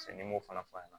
n'i m'o fana fɔ